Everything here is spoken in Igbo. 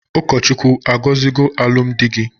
Ụkọchukwu agozigo alụm di gi?